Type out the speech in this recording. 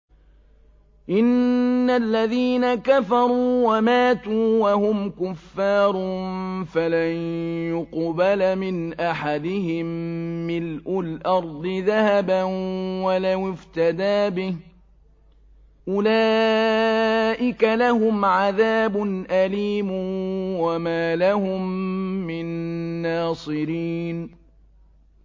إِنَّ الَّذِينَ كَفَرُوا وَمَاتُوا وَهُمْ كُفَّارٌ فَلَن يُقْبَلَ مِنْ أَحَدِهِم مِّلْءُ الْأَرْضِ ذَهَبًا وَلَوِ افْتَدَىٰ بِهِ ۗ أُولَٰئِكَ لَهُمْ عَذَابٌ أَلِيمٌ وَمَا لَهُم مِّن نَّاصِرِينَ